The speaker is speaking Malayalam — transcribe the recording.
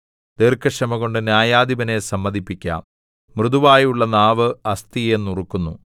ദീർഘക്ഷമകൊണ്ട് ന്യായാധിപനെ സമ്മതിപ്പിക്കാം മൃദുവായുള്ള നാവ് അസ്ഥിയെ നുറുക്കുന്നു